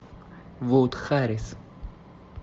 вуд харрис